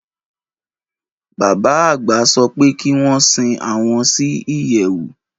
Bàbá àgbà sopé kí wón si àwon si ìyèwù.